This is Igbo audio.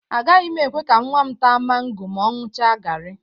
Agaghị m ekwe ka nnwa m táá mango ma ọ ṅụcha gari.